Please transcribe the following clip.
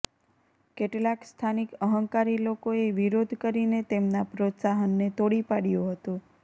કેટલાક સ્થાનિક અહંકારી લોકોએ વિરોધ કરીને તેમના પ્રોત્સાહનને તોડી પાડ્યું હતું